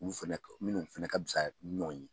U fɛnɛ, minnu fɛnɛ ka fisa ɲɔgɔn ye.